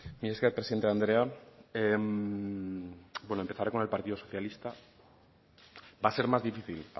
mila esker presidente andrea bueno empezaré con el partido socialista va a ser más difícil